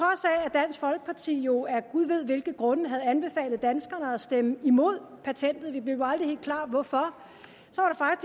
dansk folkeparti jo af gud ved hvilke grunde havde anbefalet danskerne at stemme imod patentet vi blev aldrig helt klar over hvorfor